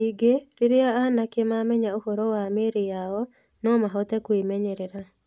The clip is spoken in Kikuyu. Ningĩ, rĩrĩa anake mamenya ũhoro wa mĩĩrĩ yao, no mahote kwĩmenyerera.